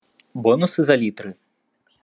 бонусы за литры